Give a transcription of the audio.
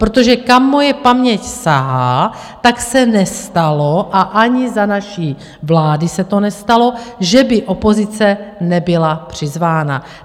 Protože kam moje paměť sahá, tak se nestalo, a ani za naší vlády se to nestalo, že by opozice nebyla přizvána.